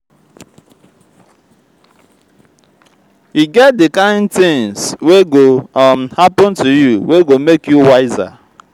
every small tin wey don happen to me for dis life dey um help me grow. um